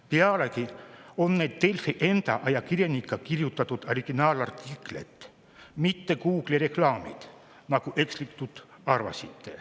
Pealegi on need Delfi enda ajakirjanike kirjutatud originaalartiklid, mitte Google'i reklaamid, nagu ekslikult arvasite.